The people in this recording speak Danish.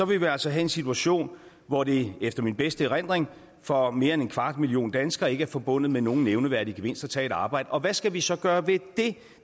vil vi altså have en situation hvor det efter min bedste erindring for mere end en kvart million danskere ikke er forbundet med nogen nævneværdig gevinst at tage et arbejde og hvad skal vi så gøre ved det